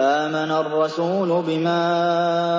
آمَنَ الرَّسُولُ بِمَا